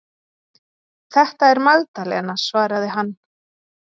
Þetta er Magdalena, svaraði hann.